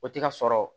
O tɛ ka sɔrɔ